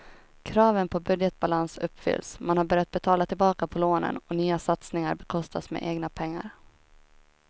Kraven på budgetbalans uppfylls, man har börjat betala tillbaka på lånen och nya satsningar bekostas med egna pengar.